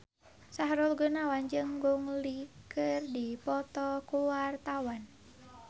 Sahrul Gunawan jeung Gong Li keur dipoto ku wartawan